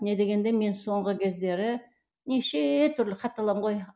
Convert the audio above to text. не дегенде мен соңғы кездері неше түрлі хат аламын ғой